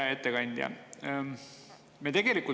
Hea ettekandja!